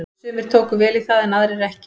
Sumir tóku vel í það en aðrir ekki.